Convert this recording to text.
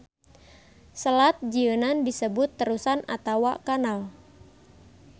Selat jieunan disebut terusan atawa kanal.